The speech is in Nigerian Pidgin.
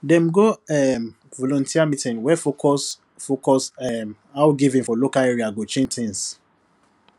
dem go um volunteer meeting wey focus focus um how giving for local area go change things